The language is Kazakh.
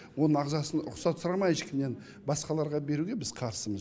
оның ағзасын рұқсат сұрамай ешкімнен басқаларға беруге біз қарсымыз